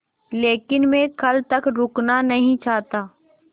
लेकिन मैं कल तक रुकना नहीं चाहता